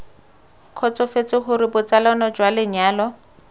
kgotsofetse gore botsalano jwa lenyalo